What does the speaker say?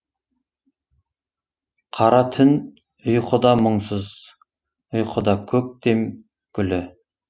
қара түн ұйқыда мұңсыз ұйқыда көктем гүлі